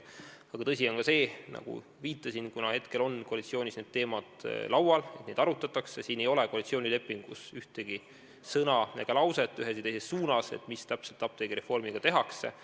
Aga tõsi on ka see, nagu viitasin – kuna hetkel on koalitsioonis need teemad laual, neid arutatakse –, et koalitsioonilepingus pole ühtegi sõna ega lauset ei ühes ega teises suunas selle kohta, mida täpselt apteegireformiga tehakse.